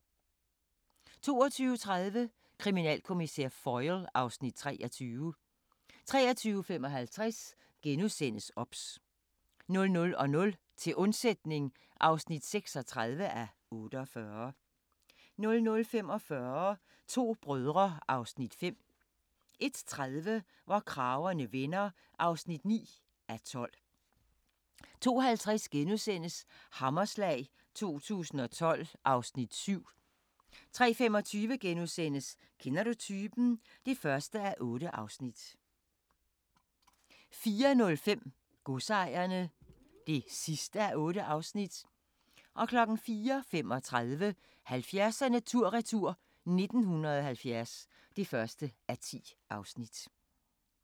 22:30: Kriminalkommissær Foyle (Afs. 23) 23:55: OBS * 00:00: Til undsætning (36:48) 00:45: To brødre (Afs. 5) 01:30: Hvor kragerne vender (9:12) 02:50: Hammerslag 2012 (Afs. 7)* 03:25: Kender du typen? (1:8)* 04:05: Godsejerne (8:8) 04:35: 70'erne tur-retur: 1970 (1:10)